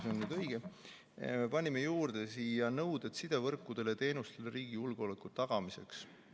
Me panime selle debati tulemusena siia juurde nõuded sidevõrkudele ja -teenustele riigi julgeoleku tagamiseks.